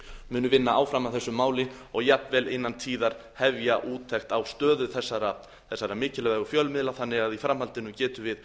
muni vinna áfram að þessu máli og jafnvel innan tíðar hefja úttekt á stöðu þessara mikilvægu fjölmiðla þannig að í framhaldinu getum við